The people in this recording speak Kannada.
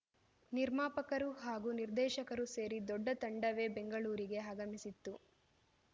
ನಿರ್ಮಾಪಕರು ಹಾಗೂ ನಿರ್ದೇಶಕರು ಸೇರಿ ದೊಡ್ಡ ತಂಡವೇ ಬೆಂಗಳೂರಿಗೆ ಆಗಮಿಸಿತ್ತು